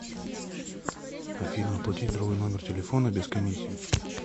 афина оплатить другой номер телефона без комиссии